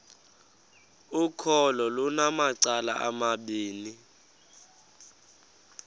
ukholo lunamacala amabini